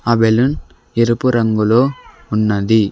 ఆ బెలూన్ ఎరుపు రంగులో ఉన్నది.